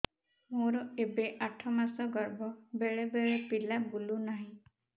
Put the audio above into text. ମୋର ଏବେ ଆଠ ମାସ ଗର୍ଭ ବେଳେ ବେଳେ ପିଲା ବୁଲୁ ନାହିଁ